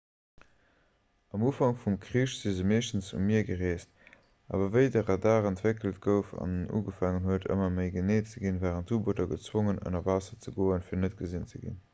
um ufank vum krich si se meeschtens um mier gereest awer wéi de radar entwéckelt gouf an ugefaangen huet ëmmer méi genee ze ginn waren d'u-booter gezwongen ënner waasser ze goen fir net gesinn ze ginn